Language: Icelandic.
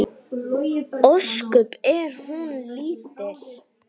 Ósköp er hún lítil.